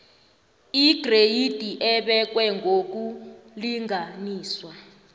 igreyidi ebekwe ngokulinganiswa